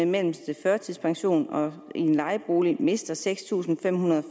mellemste førtidspension i en lejebolig mister seks tusind fem hundrede og